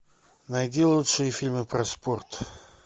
найди лучшие фильмы про спорт